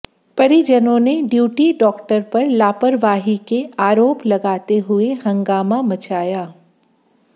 परिजनों ने duty doctor पर लापरवाही के आरोप लगाते हुए हंगामा मचाया